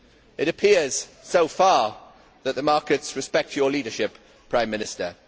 It appears so far that the markets respect your leadership, Prime Minister.